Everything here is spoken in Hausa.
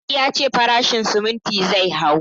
Idi ya ce farashin siminti zai hau